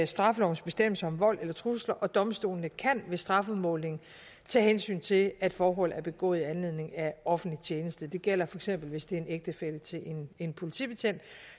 straffelovens bestemmelser om vold eller trusler og domstolene kan ved strafudmålingen tage hensyn til at forholdet er begået i anledning af offentlig tjeneste det gælder feks hvis det er en ægtefælle til en politibetjent